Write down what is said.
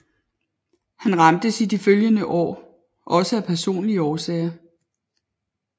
Han ramtes i de følgende år også af personlige sorger